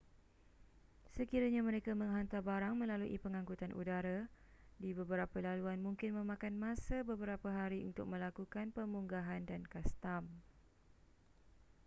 sekiranya mereka menghantar barang melalui pengankutan udara di beberapa laluan mungkin memakan masa beberapa hari untuk melakukan pemunggahan dan kastam